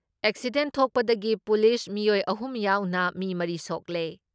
Accident ꯊꯣꯛꯄꯗꯒꯤ police ꯃꯤꯑꯣꯏ ꯑꯍꯨꯝ ꯌꯥꯎꯅ ꯃꯤ ꯃꯔꯤ ꯁꯣꯛꯂꯦ ꯫